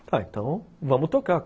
Ah, então vamos tocar.